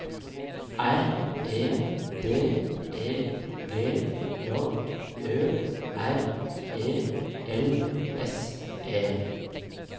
R E D E G J Ø R E L S E